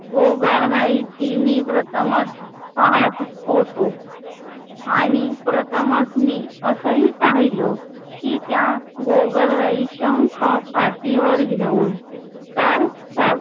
गोगलगाईची मी प्रथमच पाहात होतो. आणि प्रथमच मी असही पाहिलो कि त्या गोगलगाई शंख पाटीवर घेऊन तर चा